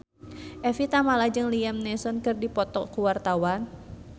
Evie Tamala jeung Liam Neeson keur dipoto ku wartawan